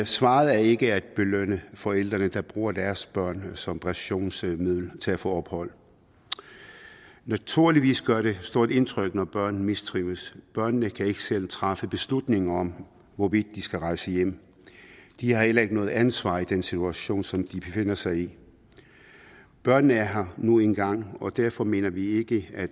svaret er ikke at belønne forældrene der bruger deres børn som pressionsmiddel til at få ophold naturligvis gør det stort indtryk når børn mistrives børnene kan ikke selv træffe beslutninger om hvorvidt de skal rejse hjem de har heller ikke noget ansvar i den situation som de befinder sig i børnene er her nu en gang og derfor mener vi ikke at